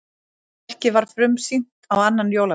Verkið var frumsýnt á annan jóladag